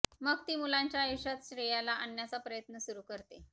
मग ती मुलांच्या आयुष्यात श्रेयाला आणण्याचा प्रयत्न सुरु करते